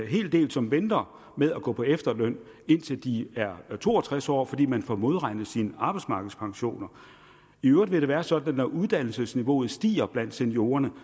hel del som venter med at gå på efterløn indtil de er to og tres år fordi man får modregnet sine arbejdsmarkedspensioner i øvrigt vil det være sådan at når uddannelsesniveauet stiger blandt seniorerne